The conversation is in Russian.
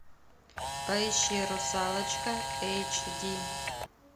поищи русалочка эйч ди